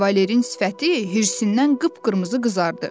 Kavalerin sifəti hirsindən qıpqırmızı qızardı.